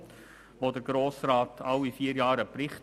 Dazu erhält der Grosse Rat alle vier Jahre einen Bericht.